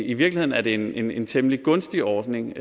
i virkeligheden er det en en temmelig gunstig ordning